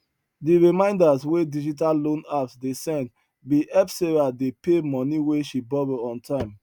di reminders wey digital loan apps dey send bin help sarah dey pay money wey she borrow on time